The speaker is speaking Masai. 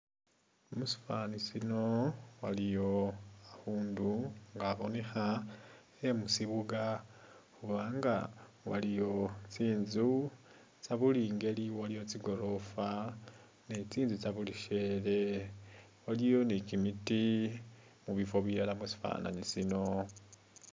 Musifani sino waliyo khakhundu nga kabonekha khe musibuga khubanga waliyo tsinzu tsebuli ingeli nga tsigorofa ni tsinzu tsa buli shele waliyo ni kimiiti mubifo bilala musifananyi shino.